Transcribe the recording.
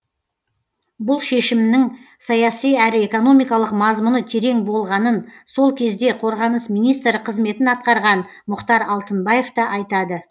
бұл шешімнің саяси әрі экономикалық мазмұны терең болғанын сол кезде қорғаныс министрі қызметін атқарған мұхтар алтынбаев та айтады